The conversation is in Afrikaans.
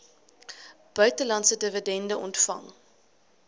buitelandse dividende ontvang